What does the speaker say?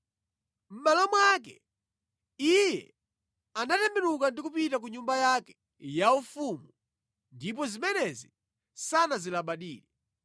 Mʼmalo mwake iye anatembenuka ndi kupita ku nyumba yake yaufumu ndipo zimenezi sanazilabadire.